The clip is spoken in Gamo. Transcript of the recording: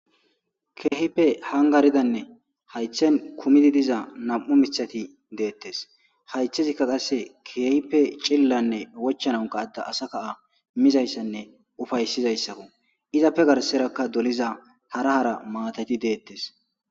keehipe hangaridanne haythen kumidi diza nam7u mithati deettes haythezikka qasse keehipe cillanne wochananka atta asa kaa mizayssanne ufayssizayssako izappe garserakka doliza harahara maatati deettes